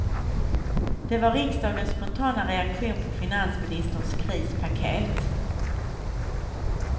Det var riksdagens spontana reaktion på finansministerns krispaket.